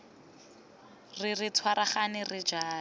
re re tshwaragane re jale